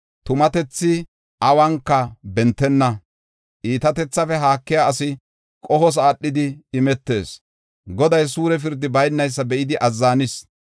Tumatethi awunka bentenna; iitatethafe haakiya asi qohos aadhidi imetees; Goday suure pirdi baynaysa be7idi azzanis.